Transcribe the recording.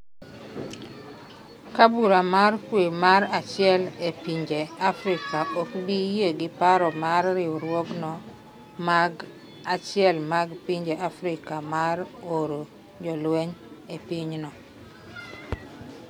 kaa bura mar kwe mar achiel e pinje Afrika ok bi yie gi paro mar riwruogno mag achiel mag pinje Afrika mar oro jolweny e pinyno